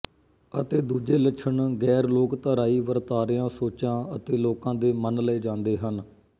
ਅਤੇ ਦੂਜੇ ਲੱਛਣ ਗ਼ੈਰ ਲੋਕਧਰਾਈ ਵਰਤਾਰਿਆਂ ਸੋਚਾਂ ਅਤੇ ਲੋਕਾਂ ਦੇ ਮੰਨ ਲਏ ਜਾਂਦੇ ਹਨ